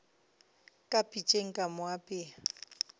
ka pitšeng ka mo apea